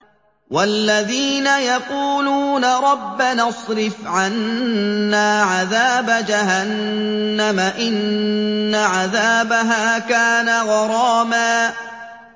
وَالَّذِينَ يَقُولُونَ رَبَّنَا اصْرِفْ عَنَّا عَذَابَ جَهَنَّمَ ۖ إِنَّ عَذَابَهَا كَانَ غَرَامًا